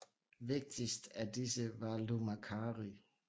Vigtigst af disse var Lou Macari